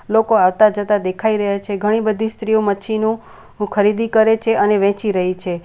લોકો આવતા જતા દેખાઈ રહ્યા છે ઘણી બધી સ્ત્રીઓ મચ્છીનું ખરીદી કરે છે અને વેચી રહી છે.